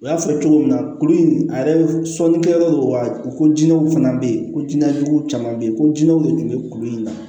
U y'a fɔ cogo min na kulu in a yɛrɛ sɔnni kɛ yɔrɔ do wa ko jinɛw fana bɛ yen ko jinɛ jugu caman bɛ yen ko jinɛw de tun bɛ kulu in na